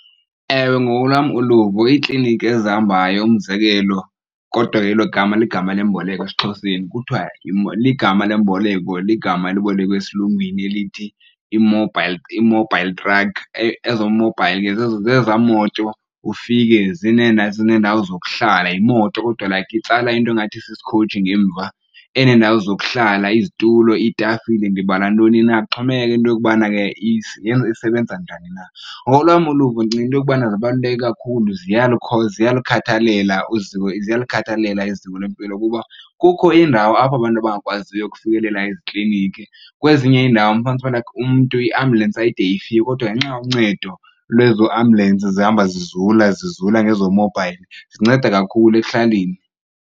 Ewe, ngokolwam uluvo iikliniki ezihambayo, umzekelo kodwa elo gama ligama lemboleko esiXhoseni, kuthiwa igama lemboleko ligama elibolekwe eSilungwini elithi i-mobile truck. Ezo mobile ke zeza moto ufike zineendawo zokuhlala, yimoto kodwa like itsala into engathi sisikhoji ngemva eneendawo zokuhlala, izitulo, iitafile ndibala ntoni na. Kuxhomekeka into yokubana ke isebenza njani na. Ngokolwam uluvo ndicinga into yokubana zibaluleke kakhulu ziyalukhathalela iziko lwempilo kuba kukho iindawo apho abantu abangakwaziyo ukufikelela ezikliniki, kwezinye iindawo ufumanise ukubana like manxiwa lakhe umntu iambyulensi ayide ifike kodwa ngenxa yoncedo lezoo ambyulensi zihamba zizula, zizula ngezo mobile zinceda kakhulu ekuhlaleni.